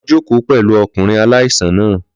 Lọ jókòó pẹ̀lú ọkùnrin aláìsàn náà.